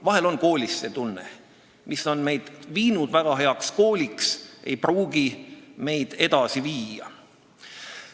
Vahel on koolis see tunne: mis on meist teinud väga hea kooli, ei pruugi meid edasi viia.